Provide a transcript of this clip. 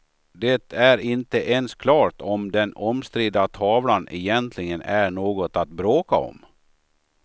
Det är inte ens klart om den omstridda tavlan egentligen är något att bråka om.